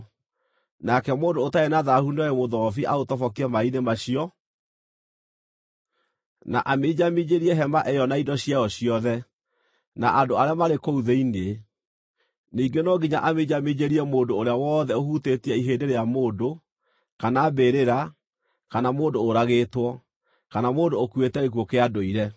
Nake mũndũ ũtarĩ na thaahu nĩoe mũthobi aũtobokie maaĩ-inĩ macio, na aminjaminjĩrie hema ĩyo na indo ciayo ciothe, na andũ arĩa maarĩ kũu thĩinĩ. Ningĩ no nginya aminjaminjĩrie mũndũ ũrĩa wothe ũhutĩtie ihĩndĩ rĩa mũndũ, kana mbĩrĩra, kana mũndũ ũragĩtwo, kana mũndũ ũkuĩte gĩkuũ kĩa ndũire.